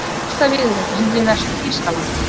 Fyrsta viðureignin við Vestur-Þýskaland